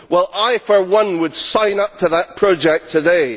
Well, I for one would sign up to that project today.